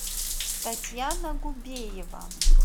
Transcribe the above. татьяна губеева